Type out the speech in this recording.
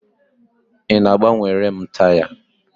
Ị na-agbanwere m taya?